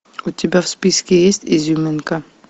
у тебя в списке есть изюминка